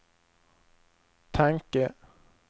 tanke